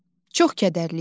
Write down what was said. Çox kədərli idi.